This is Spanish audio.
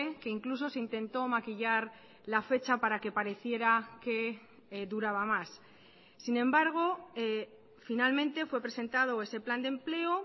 que incluso se intentó maquillar la fecha para que pareciera que duraba más sin embargo finalmente fue presentado ese plan de empleo